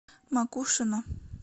макушино